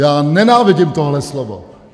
Já nenávidím tohle slovo!